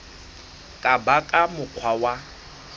ka ba ka mokgwa wa